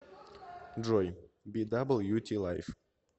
джой би дабл ю ти лайф